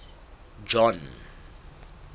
john